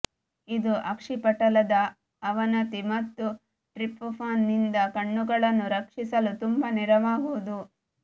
ಇದು ಅಕ್ಷಿಪಟಲದ ಅವನತಿ ಮತ್ತು ಟ್ರಿಪ್ಟೊಫಾನ್ ನಿಂದ ಕಣ್ಣುಗಳನ್ನು ರಕ್ಷಿಸಲು ತುಂಬಾ ನೆರವಾಗುವುದು